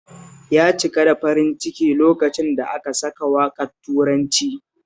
Ya cika da farin ciki lokacin da aka saka waƙar turancin